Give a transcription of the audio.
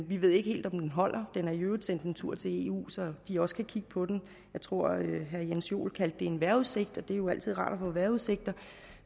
vi ved ikke helt om den holder den er i øvrigt sendt en tur til eu så de også kan kigge på den jeg tror at herre jens joel kaldte det for en vejrudsigt og det er jo altid rart at få vejrudsigter